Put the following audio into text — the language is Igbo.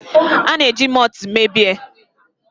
A na-eji mọọtụ mee biya